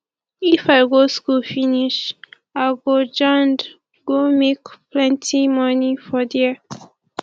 if i go school finish i go jand go make plenti moni for there